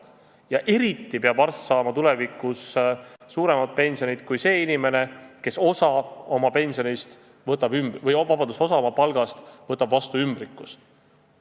Ja eriti peab arst saama suuremat pensionit kui see inimene, kes osa oma palgast võtab vastu ümbrikus.